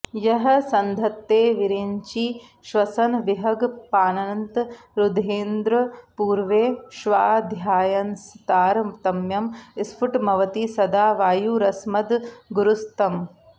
यः सन्धत्ते विरिञ्चि श्वसन विहगपानन्त रुद्रेन्द्र पूर्वे ष्वाध्यायंस्तारतम्यं स्फुटमवति सदा वायुरस्मद्गुरुस्तम्